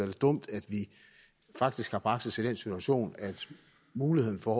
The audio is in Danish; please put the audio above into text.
det dumt at vi faktisk har bragt situation at muligheden for